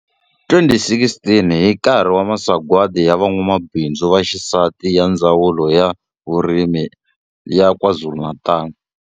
2016 hi nkarhi wa Masagwadi ya Van'wamabindzu Vaxisati ya Ndzawulo ya swa Vurimi ya KwaZulu-Natal.